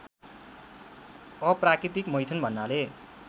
अप्राकृतिक मैथुन भन्नाले